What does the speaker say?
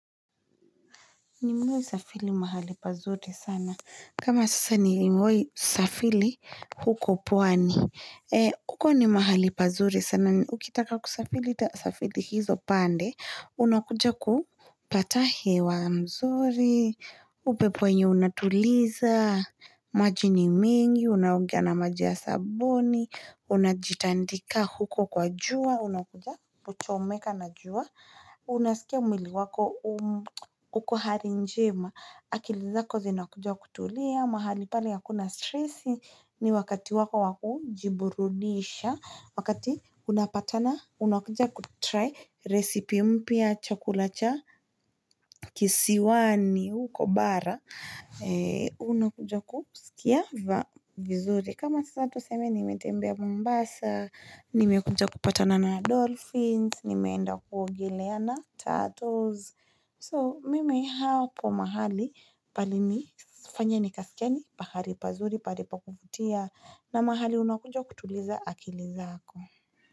Nimewai safili mahali pazuri sana. Kama sasa nimewai safili huko pwani. E, huko ni mahali pazuri sana. Ukitaka kusafili, uta safili hizo pande. Unakuja kupata he wa mzuri. Upepo enye unatuliza. Maji ni mingi. Unaugea na maji ya sabuni. Unajitandika huko kwa jua. Unakuja kuchomeka na jua. Unasikia mwili wako huko hali njema Akilizako zina kuja kutulia mahali pale hakuna stressi ni wakati wako waku jiburudisha Wakati unapatana unakuja kutry resipe mpya chakula cha kisiwani huko bara Unakuja kusikia vizuri kama sasa tuseme nimetembea mombasa Nimekuja kupatana na dolphins nimeenda kuogelea na turtles so mimi hapo mahali palini sifanya ni kasikia ni pahari pazuri pahali pa kuvutia na mahali unakunja kutuliza akili zako.